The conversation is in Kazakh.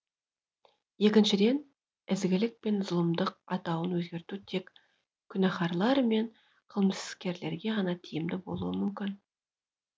екіншіден ізгілік пен зұлымдық атауын өзгерту тек күнәһарлар мен қылмыскерлерге ғана тиімді болуы мүмкін